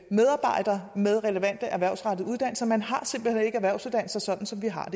medarbejdere med relevante erhvervsrettede uddannelser man har simpelt hen ikke erhvervsuddannelser sådan som vi har